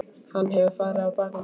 Hann hefur farið á bak við þig.